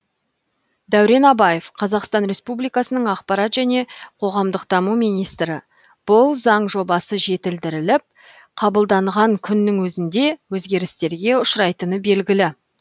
дәурен абаев қазақстан республикасының ақпарат және қоғамдық даму министрі бұл заң жобасы жетілдіріліп қабылданған күннің өзінде өзгерістерге ұшырайтыны белгілі